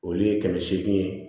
Olu ye kɛmɛ seegin